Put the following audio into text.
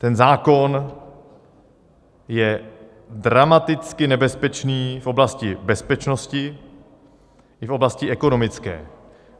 Ten zákon je dramaticky nebezpečný v oblasti bezpečnosti i v oblasti ekonomické.